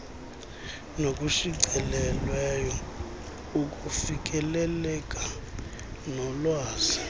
nokushicilelweyo ukufikeleleka kolwazi